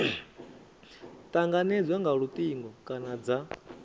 tanganedzwa nga lutingo kana dza